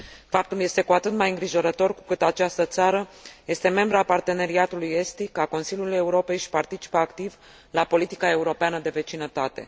Faptul este cu atât mai îngrijorător cu cât această țară este membră a Parteneriatului estic, a Consiliului Europei și participă activ la politica europeană de vecinătate.